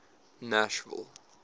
nashville